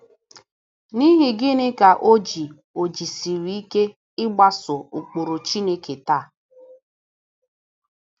N’ihi gịnị ka o ji o ji esiri ike ịgbaso ụkpụrụ Chineke taa?